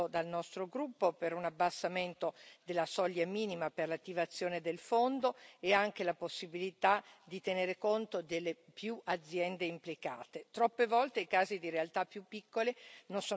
Accolgo con soddisfazione il risultato ottenuto dal nostro gruppo per un abbassamento della soglia minima per l'attivazione del fondo e anche la possibilità, di tenere conto delle più aziende implicate.